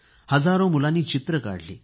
हजारो मुलांनी चित्रे काढली